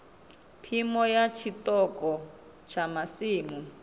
phimo ya tshiṱoko tsha masimu